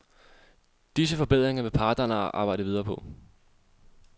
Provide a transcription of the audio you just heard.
Disse forbedringer vil parterne arbejde videre på.